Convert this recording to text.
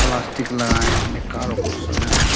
plastic लगाए आपने कारो को सजाए --